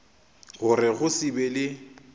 gore go se be le